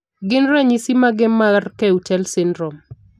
Gin ranyisis mage mar Keutel syndrome?